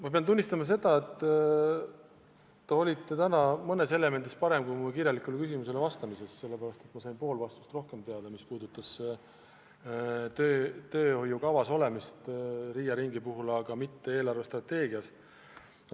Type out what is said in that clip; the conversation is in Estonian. Ma pean tunnistama, et te olite täna mõnes elemendis parem, kui mu kirjalikule küsimusele vastates, sest ma sain poole rohkem teada selle kohta, mis puudutab Riia ringi kajastamist teehoiukavas, aga mitte eelarvestrateegias.